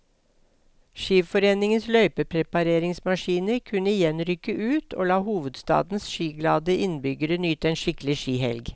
Skiforeningens løypeprepareringsmaskiner kunne igjen rykke ut og la hovedstadens skiglade innbyggere nyte en skikkelig skihelg.